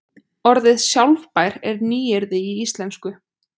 orðið sjálfbær er nýyrði í íslensku